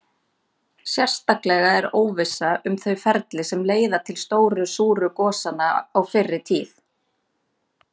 Sérstaklega er óvissa um þau ferli sem leiða til stóru súru gosanna á fyrri tíð.